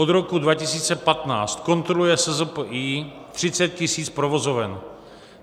Od roku 2015 kontroluje SZPI 30 000 provozoven.